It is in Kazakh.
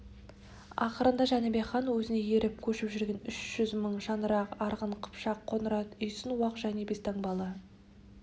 ақырында жәнібек хан өзіне еріп көшіп жүрген үш жүз мың шаңырақ арғын қыпшақ қоңырат үйсін уақ және бестаңбалы